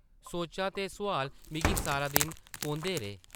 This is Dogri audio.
सोचां ते सोआल मिगी सारा दिन कोंह्दे रेह् ।